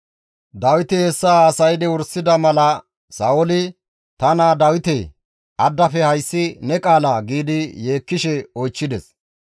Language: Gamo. Dawiti hessa haasaydi wursida mala Sa7ooli, «Ta naa Dawitee! Addafe hayssi ne qaalaa?» giidi yeekkishe oychchides.